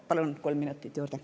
Palun kolm minutit juurde.